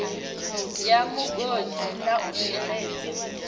bwa migodi na u sheledza